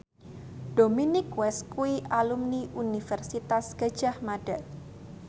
Dominic West kuwi alumni Universitas Gadjah Mada